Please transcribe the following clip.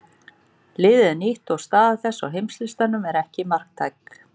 Liðið er nýtt og staða þess á heimslistanum er ekki marktæk.